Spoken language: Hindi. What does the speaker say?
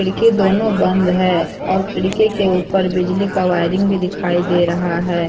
की दोनों बंद है और खिड़की के ऊपर बिजली का वायरिंग भी दिखाई दे रहा है।